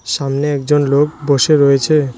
সামনে একজন লোক বসে রয়েছে।